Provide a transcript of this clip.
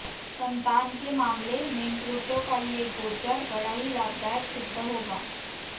संतान के मामले मेंप्लूटो का ये गोचर बड़ा ही लाभदायक सिद्ध होगा